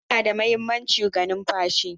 Huhu na da mahimmanci ga numfashi.